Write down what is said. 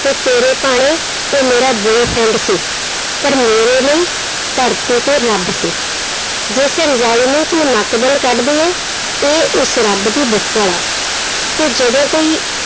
ਕਿ ਤੇਰੇ ਭਾਣੇ ਉਹ ਮੇਰਾ boyfriend ਸੀ, ਪਰ ਮੇਰੇ ਲਈ ਧਰਤੀ ਤੇ ਰੱਬ ਸੀ, ਜਿਸ ਰਜਾਈ ਨੂੰ ਤੂੰ ਨੱਕ ਬੁੱਲ ਕੱਢਦੀ ਹੈ ਇਹ ਉਸ ਰੱਬ ਦੀ ਬੁੱਕਲ ਹੈ, ਤੇ ਜਦੋਂ ਕੋਈ